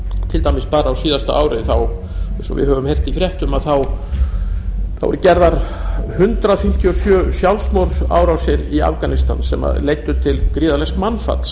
til dæmis bara á síðasta ári eins og við höfum heyrt í fréttum eru gerðar hundrað fimmtíu og sjö sjálfsmorðsárásir í afganistan sem leiddu til gríðarlegs mannfalls